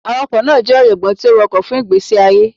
Awakọ naa jẹ ọjọgbọn ti o wakọ fun igbesi aye.